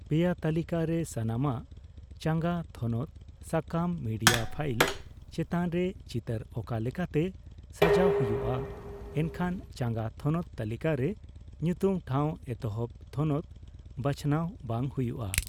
ᱯᱮᱭᱟ ᱛᱟᱹᱞᱤᱠᱟ ᱨᱮ ᱥᱟᱱᱟᱢᱟᱜ( ᱪᱟᱸᱜᱟ ᱛᱷᱚᱱᱚᱛ, ᱥᱟᱠᱟᱢ, ᱢᱤᱰᱤᱭᱟ ᱯᱷᱟᱭᱤᱞ) ᱪᱮᱛᱟᱱ ᱨᱮ ᱪᱤᱛᱟᱹᱨ ᱟᱠᱟ ᱞᱮᱠᱟᱛᱮ ᱥᱟᱡᱟᱣ ᱦᱚᱭᱩᱜ ᱟ,(ᱮᱱᱠᱷᱚᱱ ᱪᱟᱸᱜᱟ ᱛᱷᱚᱱᱚᱛ ᱛᱟᱹᱞᱤᱠᱟᱨᱮ, ᱧᱩᱛᱩᱢ ᱴᱷᱟᱣ ᱮᱛᱚᱦᱚᱵ ᱛᱷᱚᱱᱚᱛ ᱵᱟᱸᱪᱷᱟᱱᱟᱣ ᱵᱟᱝ ᱦᱚᱭᱩᱜ ᱟ ᱾